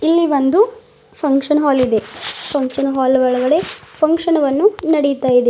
ಇಲ್ಲಿ ಒಂದು ಫಂಕ್ಷನ್ ಹಾಲಿ ದೆ ಫಂಕ್ಷನ್ ಹಾಲ್ ಒಳಗಡೆ ಫಂಕ್ಷನ ವನ್ನು ನಡೀತಾ ಇದೆ.